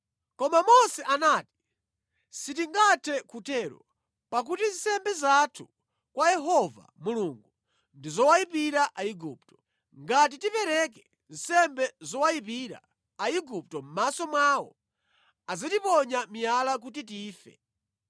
Koma Mose anati, “Sitingathe kutero pakuti nsembe zathu kwa Yehova Mulungu ndi zowayipira Aigupto. Ngati tipereke nsembe zowayipira Aigupto mʼmaso mwawo, adzatiponya miyala kuti tife.